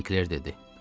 Sinkler dedi.